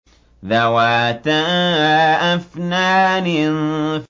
ذَوَاتَا أَفْنَانٍ